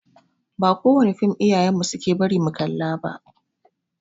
Ba kowane fim iyayen mu suke bari mu kalla ba.